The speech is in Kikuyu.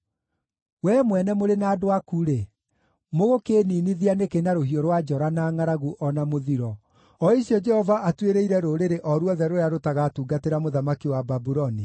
Wee mwene mũrĩ na andũ aku-rĩ, mũgũkĩĩninithia nĩkĩ na rũhiũ rwa njora, na ngʼaragu, o na mũthiro, o icio Jehova atuĩrĩire rũrĩrĩ o ruothe rũrĩa rũtagatungatĩra mũthamaki wa Babuloni?